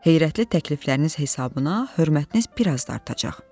Heyrətli təklifləriniz hesabına hörmətiniz biraz da artacaq.